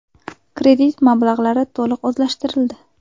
Kredit mablag‘lari to‘liq o‘zlashtirildi.